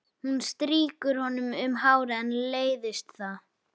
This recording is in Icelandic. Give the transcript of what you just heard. Hún strýkur honum um hárið en leiðist það.